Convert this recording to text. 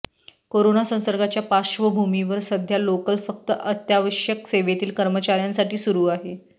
corona संसर्गाच्या पार्श्वभूमीवर सध्या लोकल फक्त अत्यावश्यक सेवेतील कर्मचाऱ्यांसाठी सुरु आहे